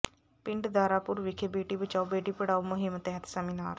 ਪਿੰਡ ਦਾਰਾਪੁਰ ਵਿਖੇ ਬੇਟੀ ਬਚਾਓ ਬੇਟੀ ਪੜ੍ਹਾਓ ਮੁਹਿੰਮ ਤਹਿਤ ਸੈਮੀਨਾਰ